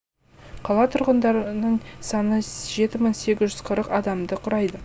қала тұрғындарының саны жеті мың сегіз жүз қырық адамды құрайды